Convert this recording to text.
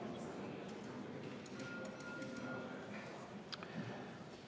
Juhtivkomisjoni ettepanek on viia läbi eelnõu 215 lõpphääletus, asume selle ettevalmistuse juurde.